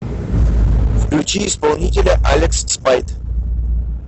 включи исполнителя алекс спайт